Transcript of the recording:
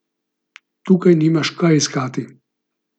Tukaj nimaš kaj iskati!